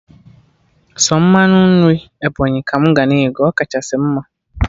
Sọ mmanụ nri Ebọnyị ka mụ ga na ego, ọ kachasị mma